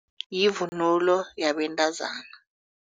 Yivunulo yabentazana.